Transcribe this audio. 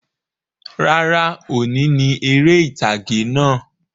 Rárá, òní ni eré ìtàgè náà